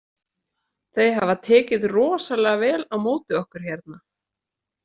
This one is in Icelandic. Þau hafa tekið rosalega vel á móti okkur hérna.